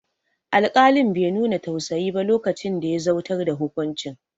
Alƙalin be nuna tausayi ba lokacin da ya zautar da hukuncin